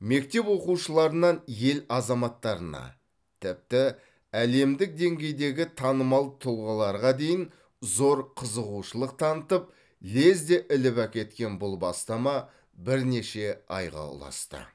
мектеп оқушыларынан ел азаматтарына тіпті әлемдік деңгейдегі танымал тұлғаларға дейін зор қызығушылық танытып лезде іліп әкеткен бұл бастама бірнеше айға ұласты